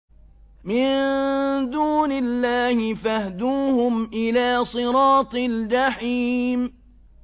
مِن دُونِ اللَّهِ فَاهْدُوهُمْ إِلَىٰ صِرَاطِ الْجَحِيمِ